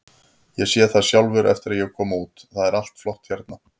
Ég sé það sjálfur eftir að ég kom út, það er allt flott hérna.